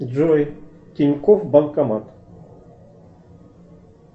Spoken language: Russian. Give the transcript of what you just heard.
джой тинькофф банкомат